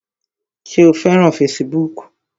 Ṣé o fẹ́ràn fesibúùkù?